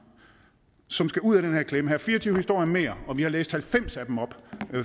som skal ud af den her klemme her er fire og tyve historier mere og vi har læst halvfems af dem op